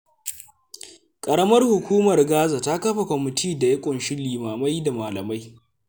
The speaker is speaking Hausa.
Ƙaramar Hukumar Gaza ta kafa kwamitin da ya ƙunshi limamai da malamai.